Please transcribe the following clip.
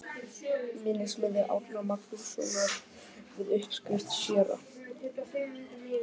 Minnismiði Árna Magnússonar við uppskrift séra